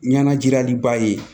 Ɲɛnajiliba ye